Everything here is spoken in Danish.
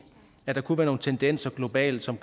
at der kunne være nogle tendenser globalt som